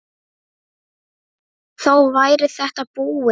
Þá væri þetta búið.